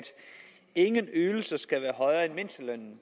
ingen ydelser skal være højere end mindstelønnen